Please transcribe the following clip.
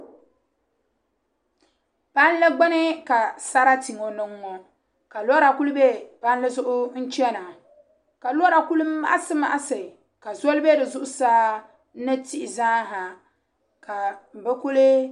Palli gbuni ka sarati ŋɔ niŋ ŋɔ ka lora ku bɛ palli zuɣu n chɛna ka lora kuli maɣasi maɣasi ka zoli bɛ di zuɣusaa ni tihi zaa ha ka bi kuli